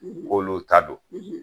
K'olu ta don